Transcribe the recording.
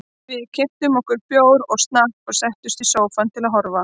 Við keyptum okkur bjór og snakk og settumst í sófann til að horfa.